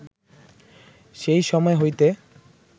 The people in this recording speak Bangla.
সেই সময় হইতে